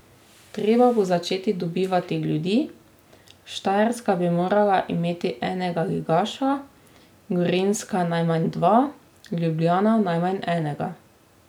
Treba bo začeti dobivati ljudi, Štajerska bi morala imeti enega ligaša, Gorenjska najmanj dva, Ljubljana najmanj enega.